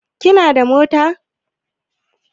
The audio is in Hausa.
Kina da mota?